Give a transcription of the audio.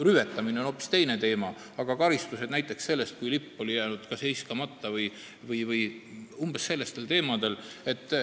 Rüvetamine on hoopis teine teema, aga olid nähtud ette karistused näiteks selle eest, kui lipp oli jäänud heiskamata või umbes sellistel teemadel.